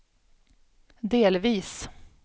delvis